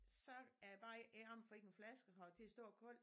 Så er det bare om at finde en flaske og have det til at stå koldt